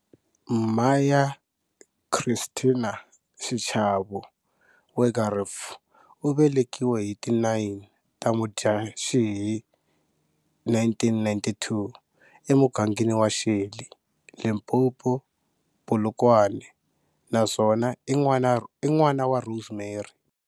Maya Christinah Xichavo Wegerif u velekiwe hi ti 9 ta Mudyaxihi 1992, emugangeni wa Shelly, Limpopo, Polokwane, naswona i n'wana wa Rosemary.